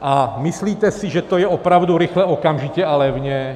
A myslíte si, že to je opravdu rychle, okamžitě a levně?